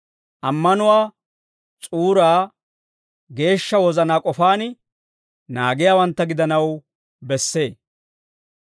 ammanuwaa s'uuraa geeshsha wozanaa k'ofaan naagiyaawantta gidanaw bessee.